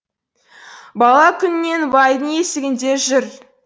бала күнінен байдың есігінде жүр